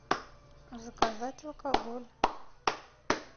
заказать алкоголь